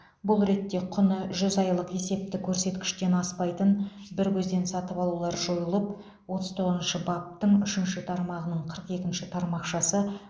бұл ретте құны жүз айлық есептік көрсеткіштен аспайтын бір көзден сатып алулар жойылып отыз тоғызыншы баптың үшінші тармағының қырық екінші тармақшасы